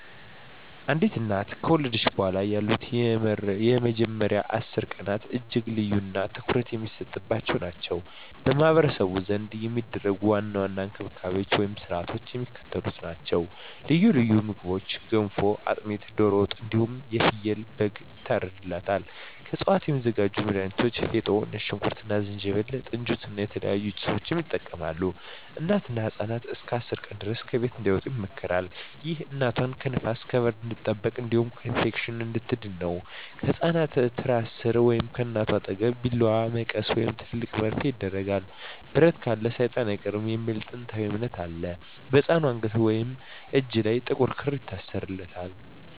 አንዲት እናት ከወለደች በኋላ ያሉት የመጀመሪያዎቹ 10 ቀናት እጅግ ልዩና ትኩረት የሚሰጥባቸው ናቸው። በማኅበረሰቡ ዘንድ የሚደረጉ ዋና ዋና እንክብካቤዎችና ሥርዓቶች የሚከተሉት ናቸው፦ ልዩ ልዩ ምግቦች ገንፎ፣ አጥሚት፣ ዶሮ ወጥ እንዲሁም ፍየልና በግ ይታርድላታል። ከእፅዋት የሚዘጋጁ መድሀኒቶች ፌጦ፣ ነጭ ሽንኩርት እና ዝንጅብል፣ ጥንጅት እና የተለያዩ ጭሶችን ይጠቀማሉ። እናትና ህፃኑ እስከ 10 ቀን ድረስ ከቤት እንዳይወጡ ይመከራል። ይህ እናቷ ከንፋስና ከብርድ እንድትጠበቅ እንዲሁም ከኢንፌክሽን እንድትድን ነው። ከህፃኑ ትራስ ሥር ወይም ከእናቷ አጠገብ ቢላዋ፣ መቀስ ወይም ትልቅ መርፌ ይደረጋል። "ብረት ካለ ሰይጣን አይቀርብም" የሚል ጥንታዊ እምነት አለ። በህፃኑ አንገት ወይም እጅ ላይ ጥቁር ክር ይታሰራል።